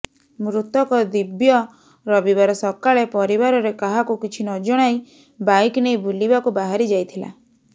ମୃତକ ଦିବ୍ୟ ରବିବାର ସକାଳେ ପରିବାରରେ କାହାକୁ କିଛି ନ ଜଣାଇ ବାଇକ୍ ନେଇ ବୁଲିବାକୁ ବାହାରି ଯାଇଥିଲା